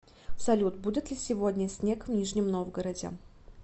салют будет ли сегодня снег в нижнем новгороде